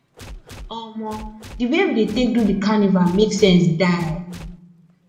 omo di wey we take do di carnival make sense die